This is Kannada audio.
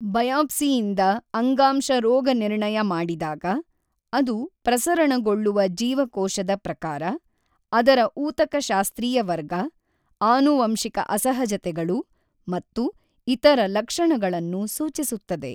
ಬಯಾಪ್ಸಿಯಿಂದ ಅಂಗಾಂಶ ರೋಗನಿರ್ಣಯ ಮಾಡಿದಾಗ, ಅದು ಪ್ರಸರಣಗೊಳ್ಳುವ ಜೀವಕೋಶದ ಪ್ರಕಾರ, ಅದರ ಊತಕಶಾಸ್ತ್ರೀಯ ವರ್ಗ, ಆನುವಂಶಿಕ ಅಸಹಜತೆಗಳು ಮತ್ತು ಇತರ ಲಕ್ಷಣಗಳನ್ನು ಸೂಚಿಸುತ್ತದೆ.